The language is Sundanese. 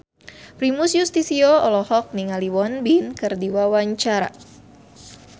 Primus Yustisio olohok ningali Won Bin keur diwawancara